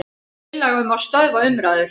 Tillaga um að stöðva umræður.